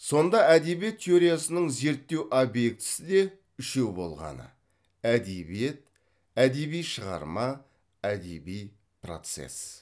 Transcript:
сонда әдебиет теориясының зерттеу объектісі де үшеу болғаны әдебиет әдеби шығарма әдеби процесс